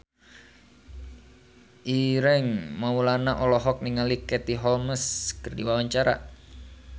Ireng Maulana olohok ningali Katie Holmes keur diwawancara